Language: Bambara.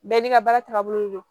Bɛɛ n'i ka baara tagabolo don